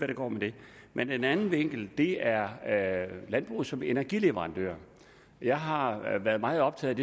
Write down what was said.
det går med det men en anden vinkel er landbruget som energileverandør jeg har været meget optaget